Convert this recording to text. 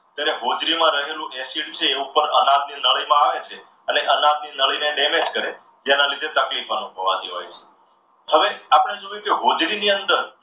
ત્યારે હોજરીમાં રહેલું acid એ ઉપરના નવ ની નળીમાં આવે છે અને અનાવની નળીને damage કરે જેના લીધે તકલીફ અનુભવાતી હોય છે. હવે આપણે જોયું કે હોજરી ની અંદર